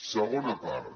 segona part